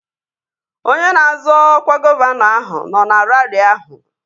Onye na-azọ ọkwa gọvanọ ahụ nọ na raarị ahụ